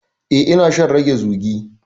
Eh, ina shan rage zugi.